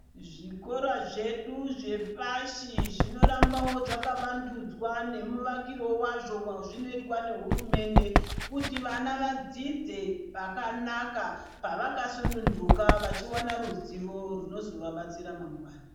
Zvikora zvedu zvepashi zvinorambawo zvakawandudzwa nemuvakirwe wazvo wazvinoitwa nehurumende. Kuti vana vadzidze pakanaka, pavakasununduka vachiwana ruzivo rwunozovabatsira mangwani.